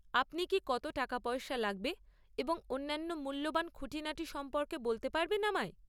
আপনি কি কত টাকাপয়সা লাগবে এবং অন্যান্য মূল্যবান খুঁটিনাটি সম্পর্কে বলতে পারবেন আমায়?